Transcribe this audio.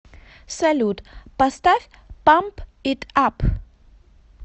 салют поставь памп ит ап